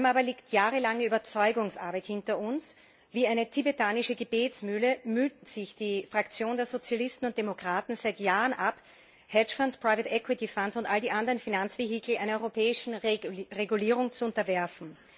Vor allem aber liegt jahrelange Überzeugungsarbeit hinter uns. Wie eine tibetanische Gebetsmühle mühte sich die Fraktion der Sozialisten und Demokraten seit Jahren ab, Hedgefonds, Fonds und all die anderen Finanzvehikel einer europäischen Regulierung zu unterwerfen.